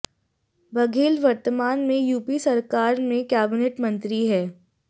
बघेल वर्तमान में यूपी सरकार में कैबिनेट मंत्री है